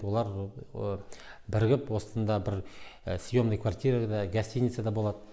олар бірігіп осында бір съемный квартирада гостиницада болады